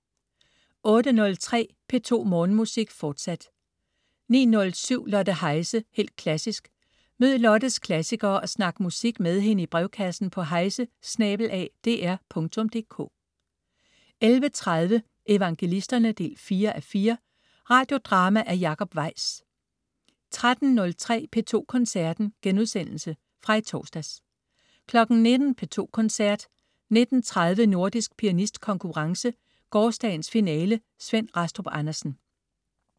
08.03 P2 Morgenmusik, fortsat 09.07 Lotte Heise, helt klassisk. Mød Lottes klassikere og snak musik med hende i brevkassen på heise@dr.dk 11.30 Evangelisterne 4:4. Radiodrama af Jacob Weis 13.03 P2 Koncerten.* Genudsendelse fra i torsdags 19.00 P2 Koncerten. 19.30 Nordisk pianistkonkurrence. Gårsdagens finale. Svend Rastrup Andersen